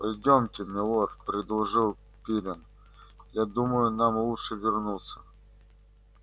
пойдёмте милорд предложил пиренн я думаю нам лучше вернуться